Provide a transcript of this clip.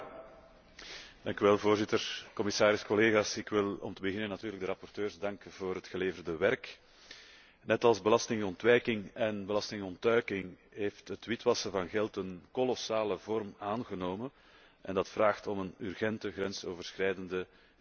Voorzitter, commissaris, collega's, ik wil om te beginnen natuurlijk de rapporteurs danken voor het geleverde werk. Net als belastingontwijking en belastingontduiking heeft het witwassen van geld kolossale vormen aangenomen en dat vraagt om een urgente, grensoverschrijdende en Europese aanpak.